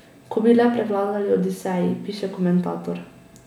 Ko bi le prevladali odiseji, piše komentator.